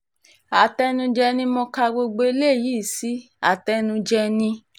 àtẹnujẹ ni mo ka gbogbo eléyìí sí àtẹnujẹ ni